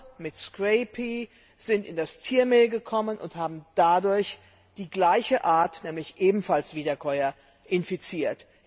Schafe mit Scrapie sind in das Tiermehl gelangt und haben dadurch die gleiche Art, nämlich ebenfalls Wiederkäuer, infiziert.